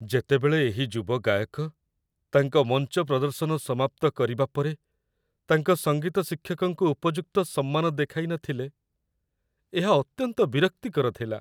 ଯେତେବେଳେ ଏହି ଯୁବ ଗାୟକ ତାଙ୍କ ମଞ୍ଚ ପ୍ରଦର୍ଶନ ସମାପ୍ତ କରିବା ପରେ ତାଙ୍କ ସଙ୍ଗୀତ ଶିକ୍ଷକଙ୍କୁ ଉପଯୁକ୍ତ ସମ୍ମାନ ଦେଖାଇନଥିଲେ, ଏହା ଅତ୍ୟନ୍ତ ବିରକ୍ତିକର ଥିଲା